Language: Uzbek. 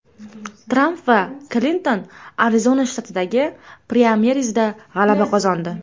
Tramp va Klinton Arizona shtatidagi praymerizda g‘alaba qozondi.